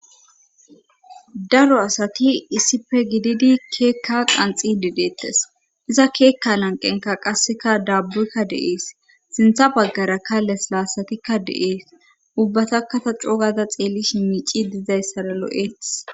Daro asati issippe gididi keekka qanxidi deettes iza keekka lanqenka qasseka daabbu7kka deees sintha baggara kales laasatikka de7ees ubbatakata cogada xeelli shimiici dizayssara lo7eetis.